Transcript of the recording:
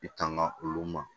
I tanga olu ma